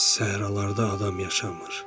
Səhralarda adam yaşamır.